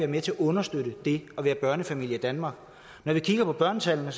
med til at understøtte det at være børnefamilie i danmark når vi kigger på børnetallene